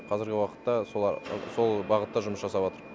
қазіргі уақытта сол бағытта жұмыс жасаватырық